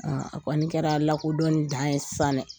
A kɔɔni kɛra lakodɔni dan ye saan dɛ!